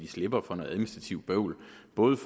ud